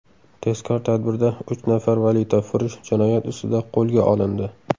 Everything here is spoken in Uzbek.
Tezkor tadbirda uch nafar valyutafurush jinoyat ustida qo‘lga olindi.